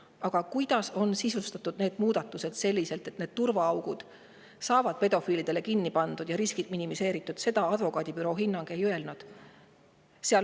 Aga seda, kuidas on nende muudatustega, et turvaaugud saavad pedofiilide ees kinni pandud ja riskid minimeeritud, advokaadibüroo hinnang ei ütle.